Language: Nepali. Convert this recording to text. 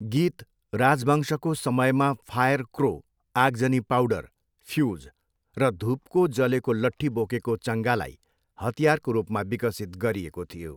गीत राजवंशको समयमा फायर क्रो, आगजनी पाउडर, फ्युज, र धुपको जलेको लठ्ठी बोकेको चङ्गालाई हतियारको रूपमा विकसित गरिएको थियो।